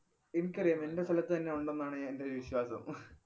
എനിക്കറിയാം. എന്‍റെ സ്ഥലത്ത് തന്നെ ഒണ്ടെന്നാണ് എന്‍റൊരു വിശ്വാസം